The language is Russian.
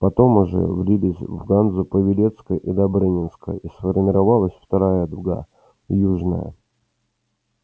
потом уже влились в ганзу павелецкая и добрынинская и сформировалась вторая дуга южная